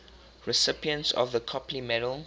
recipients of the copley medal